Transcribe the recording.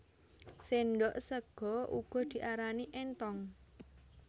Sendhok sega uga diarani énthong